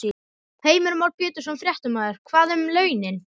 Heimir Már Pétursson, fréttamaður: Hvað um launin?